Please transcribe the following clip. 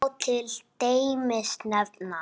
Þar má til dæmis nefna